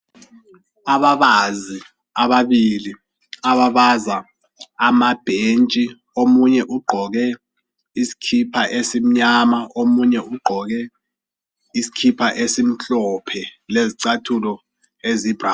Ababazi ababili abbaza amabhentahi omunye ugqoke isikhipha esimnyama omunye ugqoke isikhipha ezimhlophe lezicathulo eziyi brown